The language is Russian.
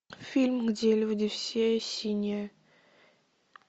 фильм где люди все синие